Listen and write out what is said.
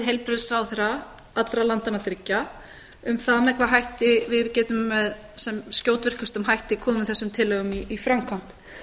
heilbrigðisráðherra allra landanna þriggja um það með hvaða hætti við getum með sem skjótvirkustum hætti komið þessum tillögum í framkvæmd